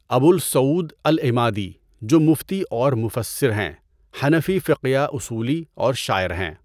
ابو السعود العمادی جو مُفْتی اورمُفسِّر ہیں، حنفی فقیہ اصولی اور شاعر ہیں۔